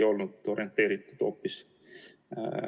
Loomulikult ongi võimalus lükata see tegevus kodaniku kaela.